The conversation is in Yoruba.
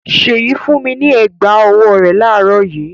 Ṣèyí fún mi ní ẹ̀gbá-ọwọ́ rẹ̀ láàárọ̀ yìí.